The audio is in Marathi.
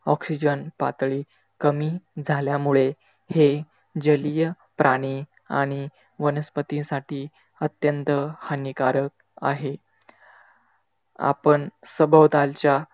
oxygen पातळी कमी झाल्यामुळे हे जलीय प्राणी आणि वनस्पती साठी अत्यंत हानिकारक आहे. आपण सभोवतालच्या